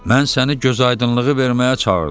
Mən səni gözaydınlığı verməyə çağırdım.